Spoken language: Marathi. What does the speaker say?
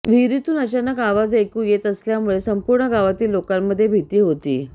विहिरीतून अचानक आवाज ऐकू येत असल्यामुळे संपूर्ण गावातील लोकांमध्ये भीती होती